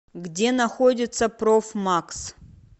где находится профмакс